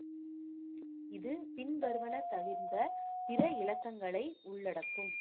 இது பின்வருவன தவிர்ந்த பிற இலக்கங்களை உள்ளடக்கும்